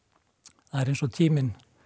það er eins og tíminn